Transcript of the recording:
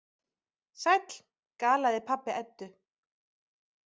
Sæll, galaði pabbi Eddu.